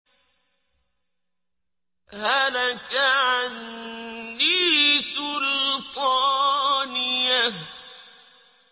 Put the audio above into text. هَلَكَ عَنِّي سُلْطَانِيَهْ